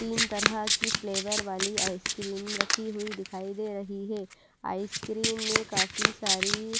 तीन तरह की फ्लेवर वाली आइसक्रीम रखी हुई दिखाई दे रही है आइसक्रीम में काफी सारी --